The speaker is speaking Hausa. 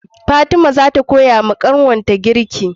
Fatima zata koyawa kanwar ta girki